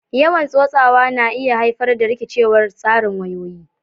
Yawan tsotsawa na iya haifar da rikicewar tsarin wayoyi